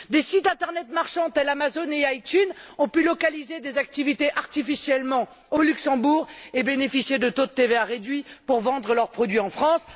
Des sites internet marchands tels Amazon et ITunes ont pu localiser des activités artificiellement au Luxembourg et bénéficier de taux de TVA réduits pour vendre leurs produits en France.